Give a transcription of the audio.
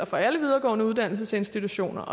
for alle videregående uddannelsesinstitutioner